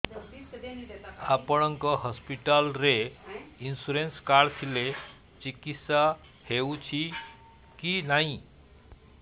ଆପଣଙ୍କ ହସ୍ପିଟାଲ ରେ insurance card ଥିଲେ ଚିକିତ୍ସା ହେଉଛି କି ନାଇଁ